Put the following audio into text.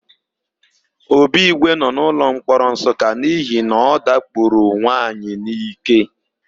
Obigwe nọ n'ụlọmkpọrọ Nsụka n'ihi na ọ dakporo nwaanyị n'íké.